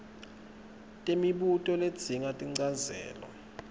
temibuto ledzinga tinchazelo